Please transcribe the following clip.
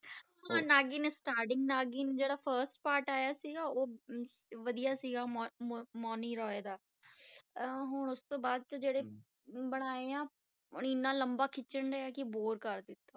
ਹਾਂ ਨਾਗਿਨ starting ਨਾਗਿਨ ਜਿਹੜਾ first part ਆਇਆ ਸੀਗਾ, ਉਹ ਹਮ ਵਧੀਆ ਸੀਗਾ ਮੋ~ ਮੋ~ ਮੋਨੀ ਰੋਏ ਦਾ ਅਹ ਹੁਣ ਉਸ ਤੋਂ ਬਾਅਦ 'ਚ ਜਿਹੜੇ ਬਣਾਏ ਆ ਇੰਨਾ ਲੰਬਾ ਖਿਚਣ ਡਿਆ ਕਿ bore ਕਰ ਦਿੱਤਾ।